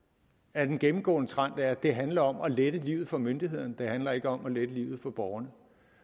er den gennemgående trend at det handler om at lette livet for myndighederne det handler ikke om at lette livet for borgerne